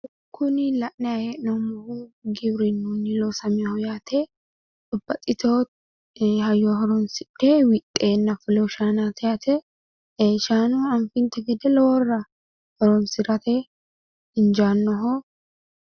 Kuni la'nayi hee'noommohu giwirinnunni loosaminoho yaate babbaxxitewo hayyo horoonsidhe wixxeenna fulinoho shaanaati yaate shaana anfummonte gede loworira horoonsi'nanniho injaannoho